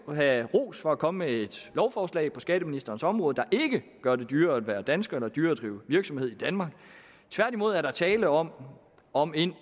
have ros for at komme med et lovforslag på skatteministerens område der ikke gør det dyrere at være dansker eller dyrere at drive virksomhed i danmark tværtimod er der tale om om en